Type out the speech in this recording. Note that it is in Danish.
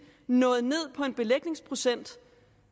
nået ned på en belægningsprocent